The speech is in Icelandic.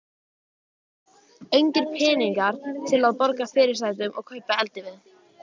Engir peningar til að borga fyrirsætunum og kaupa eldivið.